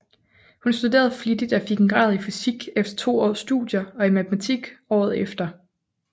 Hun studerede flittigt og fik en grad i fysik efter to års studier og i matematik året efter